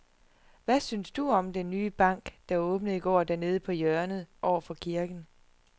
Hvad synes du om den nye bank, der åbnede i går dernede på hjørnet over for kirken?